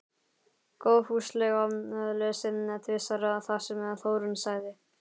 Góðfúslega lesið tvisvar það sem Þórunn sagði.